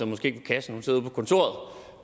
måske ikke i kassen